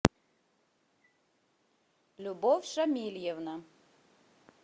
любовь шамильевна